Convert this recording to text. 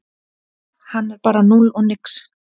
Hann er bara núll og nix